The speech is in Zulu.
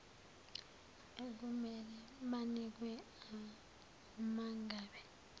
ekumele banikwe umangabe